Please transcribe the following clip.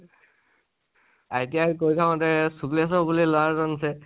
ITI কৰি থাকোতে শুক্লেস্বৰ বুলি লৰা এজন আছিলে